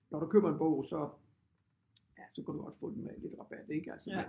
Når du køber en bog så ja så kan du også få den med lidt rabat ikke altså